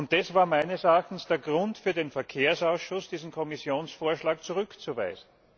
Das war meines Erachtens der Grund für den Verkehrsausschuss, diesen Kommissionsvorschlag zurückzuweisen.